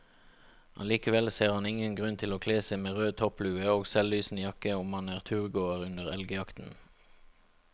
Allikevel ser han ingen grunn til å kle seg med rød topplue og selvlysende jakke om man er turgåer under elgjakten.